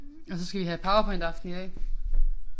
Og så skal vi have powerpointaften i dag